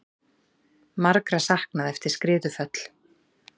Margra saknað eftir skriðuföll